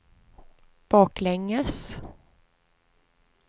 baklänges